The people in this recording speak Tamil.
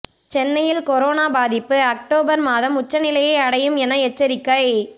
சென்னையில் கொரோனா பாதிப்பு ஒக்டோபர் மாதம் உச்சநிலையை அடையும் என எச்சரிக்கை